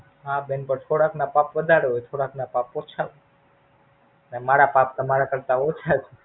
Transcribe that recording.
હા, બેન થોડાક ના પાપ વધારે હોય. થોડાક ના પાપ ઓછા હોય અને મારા પાપ તમારા કરતા ઓછા છે.